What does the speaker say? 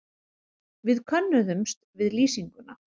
Við könnuðumst við lýsinguna.